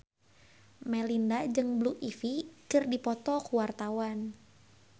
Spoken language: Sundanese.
Melinda jeung Blue Ivy keur dipoto ku wartawan